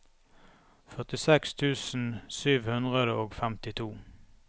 førtiseks tusen sju hundre og femtito